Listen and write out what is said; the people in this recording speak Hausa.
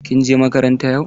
Kin je makaranta yau?